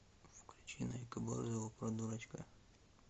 включи найка борзова про дурачка